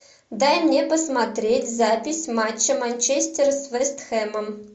дай мне посмотреть запись матча манчестер с вест хэмом